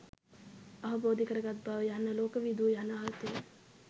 අවබෝධ කරගත් බව යන්න ලෝක විදූ යන අර්ථයෙන්